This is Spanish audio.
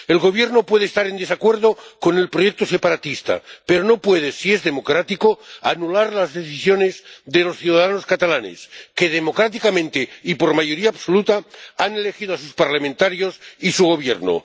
El Gobierno puede estar en desacuerdo con el proyecto separatista, pero no puede, si es democrático, anular las decisiones de los ciudadanos catalanes que, democráticamente y por mayoría absoluta, han elegido a sus parlamentarios y a su Gobierno.